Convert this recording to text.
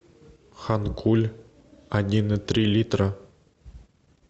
ханкуль один и три литра